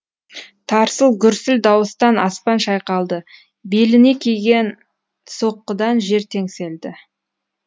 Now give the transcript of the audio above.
тарсыл гүрсіл дауыстан аспан шайқалды беліне тиген соққыдан жер теңселді